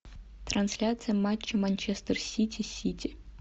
трансляция матча манчестер сити сити